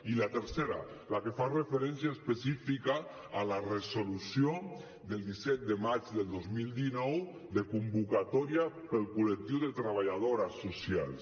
i la tercera la que fa referència específica a la resolució del disset de maig del dos mil dinou de convocatòria per al col·lectiu de treballadores socials